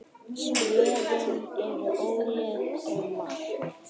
Svörin eru ólík um margt.